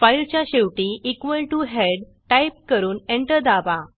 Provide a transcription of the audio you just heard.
फाईलच्या शेवटी equal to headटाईप करून एंटर दाबा